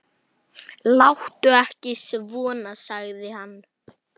Láttu ekki svona, sagði hann.